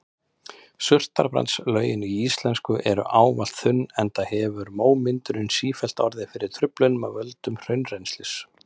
Surtarbrandslögin íslensku eru ávallt þunn enda hefur mómyndunin sífellt orðið fyrir truflunum af völdum hraunrennslis.